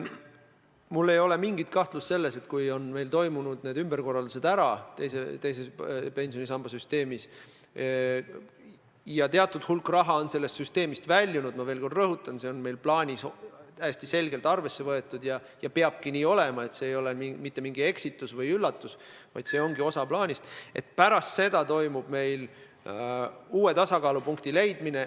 Mul ei ole mingit kahtlust, et kui meil on teise pensionisamba süsteemis need ümberkorraldused ära toimunud ja teatud hulk raha on sellest süsteemist väljunud – ma veel kord rõhutan, et seda on meie plaanis täiesti selgelt arvesse võetud, see ei ole mitte mingi eksitus või üllatus, see ongi osa plaanist –, siis pärast seda me leiame uue tasakaalupunkti.